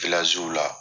la